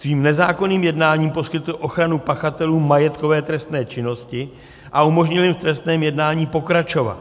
Svým nezákonným jednáním poskytl ochranu pachatelům majetkové trestné činnosti a umožnil jim v trestném jednání pokračovat.